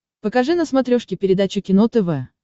покажи на смотрешке передачу кино тв